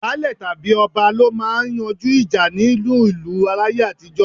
Baálè tàbí ọba lọ máa ń yanjú ìjà nínú ìlú láyé àtijó.